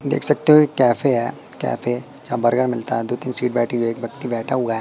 देख सकते हो एक कैफे है कैफे जहां बर्गर मिलता है दो तीन सीट बैठी हुई है एक व्यक्ति बैठा हुआ है।